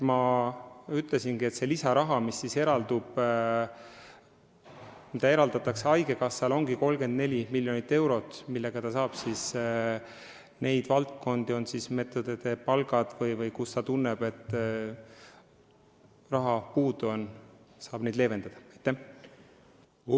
Ma ütlesin, et see lisaraha, mis eraldatakse haigekassale, on 34 miljonit eurot, millega saab leevendada olukorda nendes valdkondades, kus raha puudu on, kas tõstes meditsiiniõdede palka või tehes midagi muud.